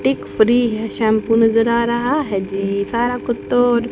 टिक free है shampoo नजर आ रहा है जी सारा कुत्तो--